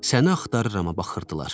Səni axtarıramə baxırdılar.